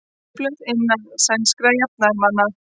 Upplausn innan sænskra jafnaðarmanna